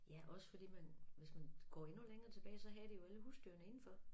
Ja også fordi man hvis man går endnu længere tilbage så havde de jo alle husdyrene indenfor